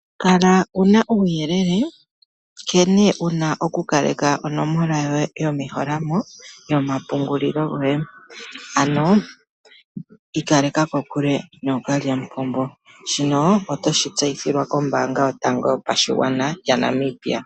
Kala wuna uuyelele nkene wuna oku kaleka onomola yoye yomeholamo yomapungulilo goye. Ano ikaleka kokule nookalyamupombo. Shino otoshi tseyithilwa kombanga yotango yopashigwana yaNamibia.